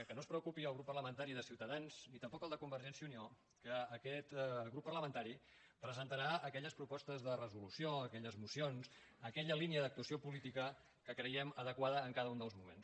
que no es preocupi el grup parla·mentari de ciutadans ni tampoc el de convergència i unió que aquest grup parlamentari presentarà aque·lles propostes de resolució aquelles mocions aquella línia d’actuació política que creguem adequada en ca·da un dels moments